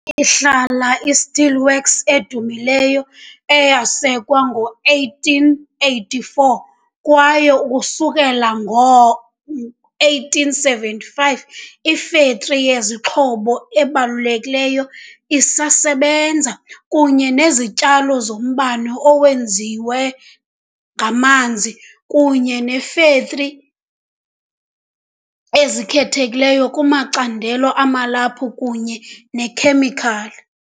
Ihlala i- Steelworks edumileyo eyasekwa ngo-1884 kwaye ukusukela ngo-1875 iFactory yeZixhobo ebalulekileyo, isasebenza, kunye nezityalo zombane owenziwe ngamanzi kunye neefektri ezikhethekileyo kumacandelo amalaphu kunye neekhemikhali.